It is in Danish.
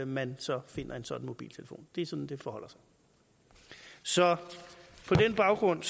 man så finder en sådan mobiltelefon det er sådan det forholder sig så på den baggrund